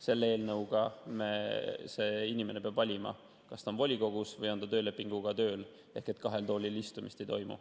Selle eelnõu alusel peab see inimene valima, kas ta on volikogus või on ta töölepinguga tööl, ehk kahel toolil istumist ei toimu.